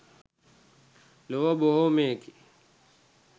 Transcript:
ලොව බොහොමයකි.